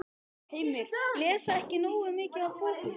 Heimir: Lesa ekki nógu mikið af bókum?